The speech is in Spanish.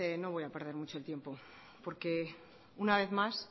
no voy a perder mucho el tiempo porque una vez más